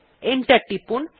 enter টিপুন